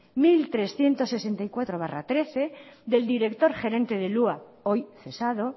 mil trescientos sesenta y cuatro barra trece del director gerente del hua hoy cesado